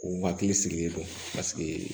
U hakili sigilen don paseke